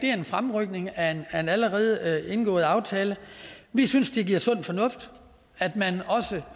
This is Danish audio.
er en fremrykning af en allerede indgået aftale vi synes det er sund fornuft at man også